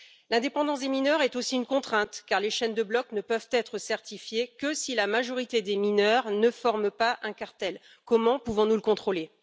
L'indépendance des mineurs est aussi une contrainte car les chaînes de blocs ne peuvent être certifiées que si la majorité des mineurs ne forment pas de cartel. Comment pouvons nous le contrôler?